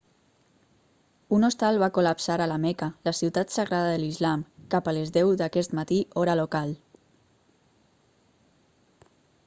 un hostal va col·lapsar a la meca la ciutat sagrada de l'islam cap a les 10 d'aquest matí hora local